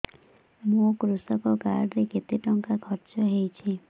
ମୋ କୃଷକ କାର୍ଡ ରେ କେତେ ଟଙ୍କା ଖର୍ଚ୍ଚ ହେଇଚି